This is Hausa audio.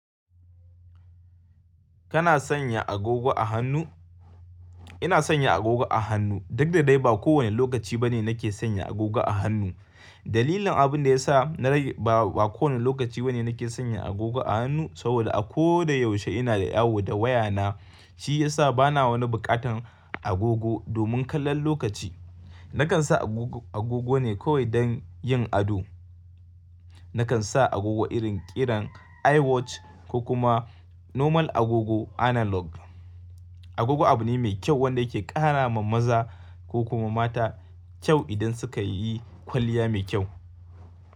Kana sanya agogo a hannu? Ina sanya agogo a hannu. Duk da dai ba kowane lokaci bane nake sanya agogo a hannu. Dalilin abin da ya sa na rage ba kowane lokaci bane nake sanya agogo a hannu saboda a ko da yaushe ina da yawo da wayana, shi ya sa bana wani buƙatan agogo. Domin kallon lokaci nakan sa agogo ne kawai don yin ado. Nakan sa agogo irin ƙiran iwatch ko kuma normal agogo analog. Agogo abu ne mai kyau wanda ke ƙara wa maza ko kuma mata kyau idan suka yi kwalliya mai kyau.